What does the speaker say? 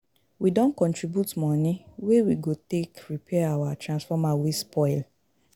We don contribute moni wey we go take repair our transformer wey spoil.